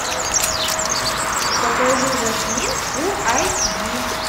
покажи жасмин фулл айч ди